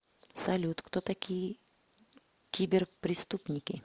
салют кто такие киберпреступники